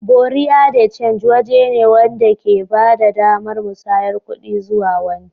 Buerea de change waje ne wanda ke ba da damar musayar kuɗi zuwa wani.